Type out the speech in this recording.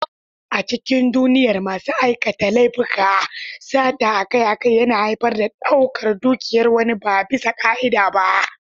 A cikin duniyar masu aikata laifuka, sata akai-akai yana haifar da ɗaukar dukiyar wani ba bisa ka'ida ba.